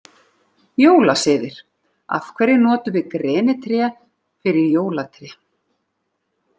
Jólasiðir Af hverju notum við grenitré fyrir jólatré?